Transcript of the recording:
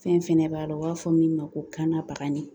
Fɛn fɛnɛ b'a la, o b'a fɔ min ma ko kannabagani